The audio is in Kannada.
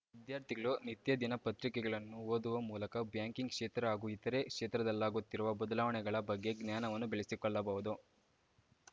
ವಿದ್ಯಾರ್ಥಿಗಳು ನಿತ್ಯ ದಿನ ಪತ್ರಿಕೆಗಳನ್ನು ಓದುವ ಮೂಲಕ ಬ್ಯಾಂಕಿಂಗ್‌ ಕ್ಷೇತ್ರ ಹಾಗೂ ಇತರೆ ಕ್ಷೇತ್ರದಲ್ಲಾಗುತ್ತಿರುವ ಬದಲಾವಣೆಗಳ ಬಗ್ಗೆ ಜ್ಞಾನವನ್ನು ಬೆಳೆಸಿಕೊಳ್ಳಬಹುದು